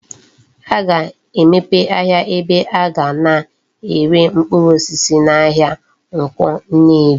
A ga-emepe ahia ebe aga na ere mkpuru osisi na ahia Nkwo Nnewi